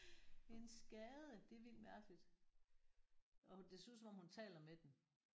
En skade! Det er vildt mærkeligt! Og det ser ud som om hun taler med den